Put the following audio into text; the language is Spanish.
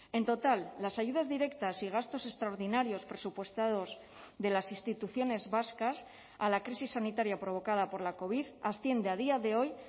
en total las ayudas directas y gastos extraordinarios presupuestados de las instituciones vascas a la crisis sanitaria provocada por la covid asciende a día de hoy